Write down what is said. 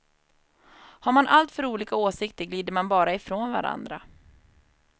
Har man alltför olika åsikter glider man bara ifrån varandra.